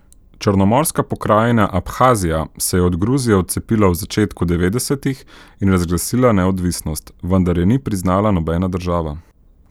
Črnomorska pokrajina Abhazija se je od Gruzije odcepila v začetku devetdesetih in razglasila neodvisnost, vendar je ni priznala nobena država.